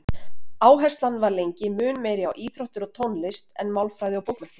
Áherslan var lengi mun meiri á íþróttir og tónlist en málfræði og bókmenntir.